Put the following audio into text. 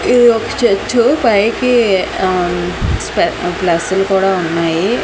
ఇది ఒక చర్చు పైకి ఆ స్ప ప్లస్సులు కూడా ఉన్నాయి.